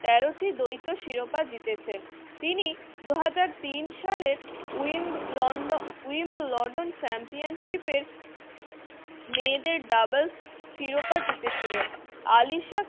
তেরো টি দ্বৈত শিরোপা জিতেছেন। তিনি দু হাজার তিন সালে wimbledon wimbledon championship এর মেয়েদের doubles শিরোপা জিতেছিলেন আলিশাকে